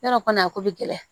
Yarɔ kɔni a ko bɛ gɛlɛya